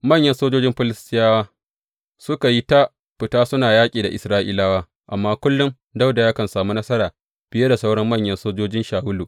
Manyan sojojin Filistiyawa suka yi ta fita suna yaƙi da Isra’ilawa, amma kullum Dawuda yakan sami nasara fiye da sauran manyan sojojin Shawulu.